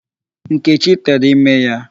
Nkechi tere ime ya.